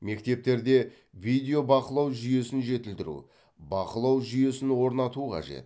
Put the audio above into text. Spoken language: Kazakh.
мектептерде видео бақылау жүйесін жетілдіру бақылау жүйесін орнату қажет